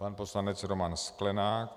Pan poslanec Roman Sklenák.